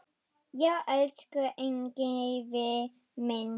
Já, elsku Engifer minn.